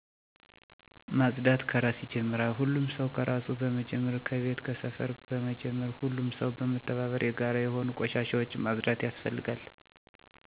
ማፅዳት ከራስ ይጀምራል ሁሉም ሰው ከራሱ በመጀመር ከቤት ከሰፈር በመጀመር ሁሉም ሰው በመተባበር የጋራ የሆኑ ቆሻሻዎች ማፅዳት ያስፈልጋል።